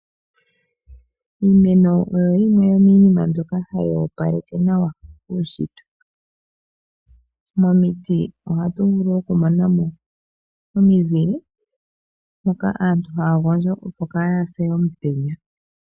Iimeno oyo yimwe yomiinima mbyoka hayi opaleke uushitwe. Momiti ohatu vulu okumona mo omizile moka aantu haya gondjo opo kaaya se omutenya.